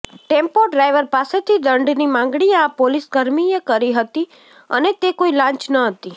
tempo driver પાસેથી દંડની માગણી આ પોલીસકર્મીએ કરી હતી અને તે કોઈ લાંચ નહોતી